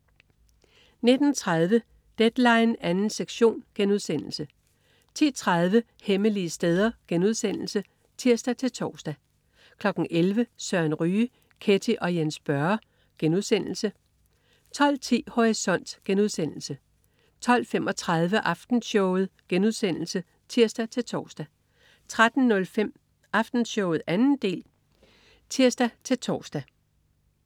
09.30 Deadline 2. sektion* 10.30 Hemmelige steder* (tirs-tors) 11.00 Søren Ryge. Ketty og Jens Børre* 12.10 Horisont* 12.35 Aftenshowet* (tirs-tors) 13.05 Aftenshowet 2. del (tirs-tors)